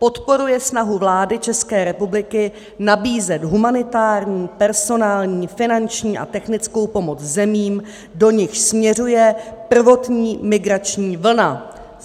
Podporuje snahu vlády České republiky nabízet humanitární, personální, finanční a technickou pomoc zemím, do nichž směřuje prvotní migrační vlna.